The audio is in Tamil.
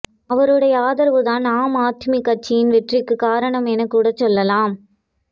அவருடைய ஆதரவுதான் ஆம் ஆத்மி கட்சியின் வெற்றிக்குக் காரணம் என்றுகூடச் சொல்லலாம்